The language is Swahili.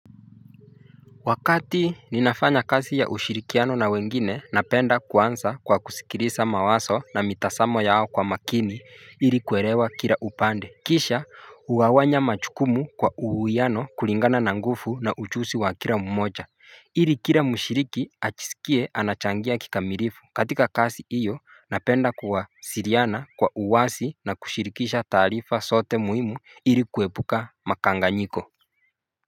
Wakati ninafanya kazi ya ushirikiano na wengine napenda kuanza kwa kusikiliza mawazo na mitazamo yao kwa makini ili kuelewa kila upande Kisha ugawanya majukumu kwa uhuiano kulingana na nguvu na ujuzi wa kila mmoja ili kila mushiriki ajisikie anachangia kikamilifu katika kazi hiyo napenda kuwasiliana kwa uwasi na kushirikisha taarifa zote muhimu ili kuepuka makanganyiko.